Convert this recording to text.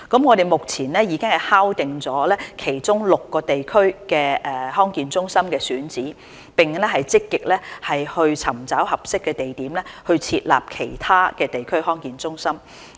我們目前已經敲定其中6個地區的康健中心選址，並正積極尋找合適地點設立其他地區康健中心。